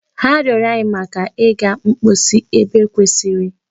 Ha rịọrọ anyi maka iga mposi ebe kwesịrị.